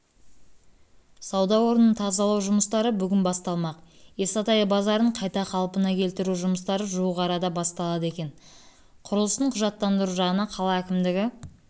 сауда орнын тазалау жұмыстары бүгін басталмақ исатай базарын қайта қалпына келтіру жұмыстары жуық арада басталады екен құрылысын құжаттандыру жағына қала әкімдігі